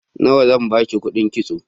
Nawa zan ba ki kuɗin kitso?